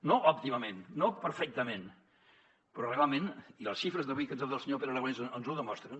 no òptimament no perfectament però realment i les xifres d’avui que ens ha donat el senyor pere aragonès ens ho demostren